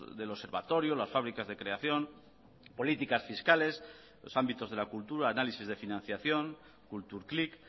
del observatorio las fabricas de creación políticas fiscales los ámbitos de la cultura análisis de financiación kultur klick